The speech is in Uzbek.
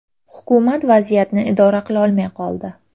Hukumat vaziyatni idora qilolmay qoldi.